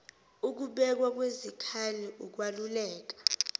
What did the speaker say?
ukubekwa kwezikhali ukwaluleka